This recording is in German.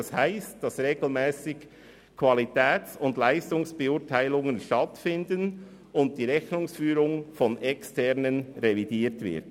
Das bedeutet, dass regelmässige Qualitäts- und Leistungsbeurteilungen stattfinden und die Rechnungsführung von Externen revidiert wird.